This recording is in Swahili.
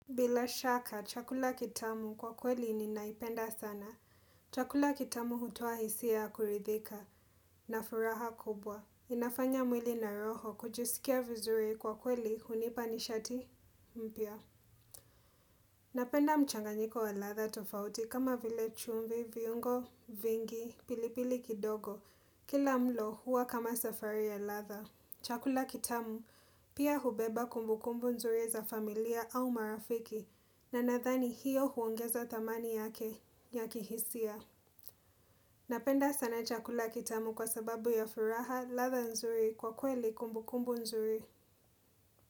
Bila shaka, chakula kitamu kwa kweli ninaipenda sana. Chakula kitamu hutoa hisia ya kuridhika na furaha kubwa. Inafanya mwili na roho kujisikia vizuri, kwa kweli hunipa nishati mpya. Napenda mchanganyiko wa ladha tofauti kama vile chumvi, viungo vingi, pilipili kidogo. Kila mlo huwa kama safari ya ladha. Chakula kitamu pia hubeba kumbukumbu nzuri za familia au marafiki. Na nadhani hiyo huongeza thamani yake ya kihisia. Napenda sana chakula kitamu kwa sababu ya furaha ladha nzuri kwa kweli kumbukumbu nzuri.